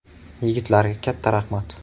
Yigitlarga katta rahmat.